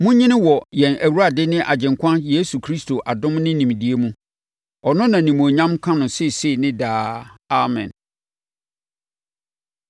Monyini wɔ yɛn Awurade ne Agyenkwa Yesu Kristo adom ne nimdeɛ mu. Ɔno na animuonyam nka no seesei ne daa. Amen.